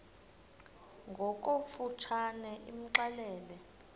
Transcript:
ngokofu tshane imxelele